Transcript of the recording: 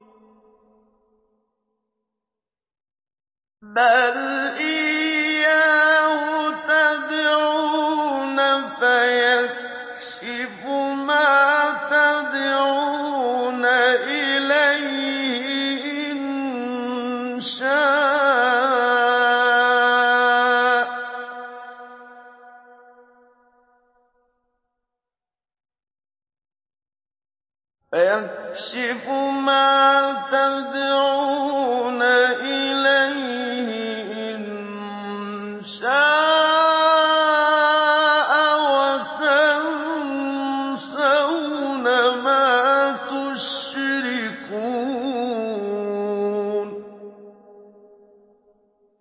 بَلْ إِيَّاهُ تَدْعُونَ فَيَكْشِفُ مَا تَدْعُونَ إِلَيْهِ إِن شَاءَ وَتَنسَوْنَ مَا تُشْرِكُونَ